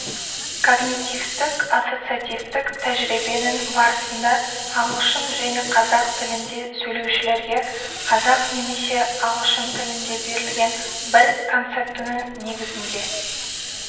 когнитивтік-ассоциативтік тәжірибенің барысында ағылшын және қазақ тілінде сөйлеушілерге қазақ немесе ағылшын тілінде берілген бір концептінің негізінде